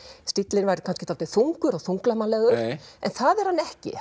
stíllinn væri dálítið þungur og þunglamalegur en það er hann ekki